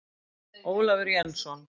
Ólafur Jensson.